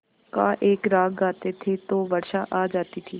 का एक राग गाते थे तो वर्षा आ जाती थी